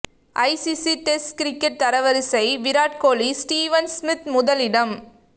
ICC test cricket தரவரிசை Virat Kohli Steven Smith முதலிடம்